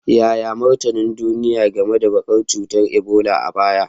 Yaya martanin duniya game da barkewar cutar Ebola a baya?